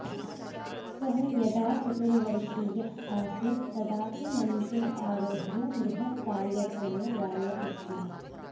सः यदा चतुर्वर्षीयः आसीत् तदापि मञ्चे आरोह्य बृहत्कार्यक्रमे गायति स्म